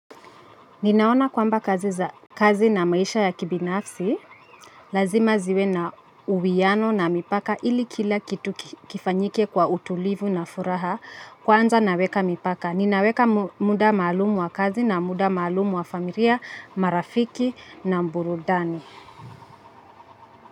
Ninaona kwamba kazi na maisha ya kibinafsi lazima ziwe na uwiano na mipaka ili kila kitu kifanyike kwa utulivu na furaha kwanza naweka mipaka. Ninaweka muda maalumu wa kazi na muda maalumu wa familia marafiki na burudani.